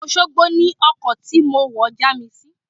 Òṣogbo ni ọkọ̀ tí mo wọ̀ já mi sí.